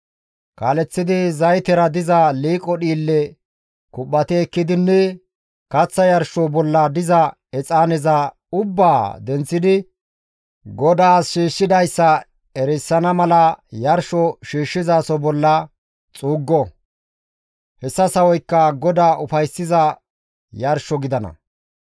Kaaleththidi zaytera diza liiqo dhiille kuphphati ekkidinne kaththa yarsho bolla diza exaaneza ubbaa denththidi GODAAS shiishshidayssa erisana mala yarsho shiishshizaso bolla xuuggo; hessa sawoykka GODAA ufayssiza yarsho gidana.